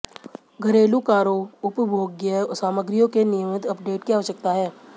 घरेलू कारों उपभोग्य सामग्रियों के नियमित अपडेट की आवश्यकता है